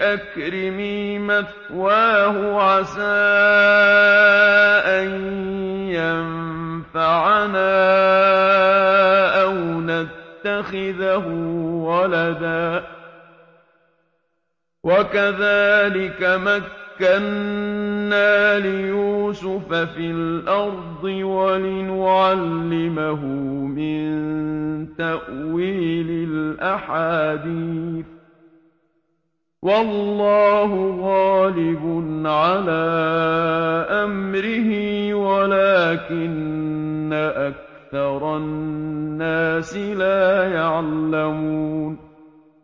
أَكْرِمِي مَثْوَاهُ عَسَىٰ أَن يَنفَعَنَا أَوْ نَتَّخِذَهُ وَلَدًا ۚ وَكَذَٰلِكَ مَكَّنَّا لِيُوسُفَ فِي الْأَرْضِ وَلِنُعَلِّمَهُ مِن تَأْوِيلِ الْأَحَادِيثِ ۚ وَاللَّهُ غَالِبٌ عَلَىٰ أَمْرِهِ وَلَٰكِنَّ أَكْثَرَ النَّاسِ لَا يَعْلَمُونَ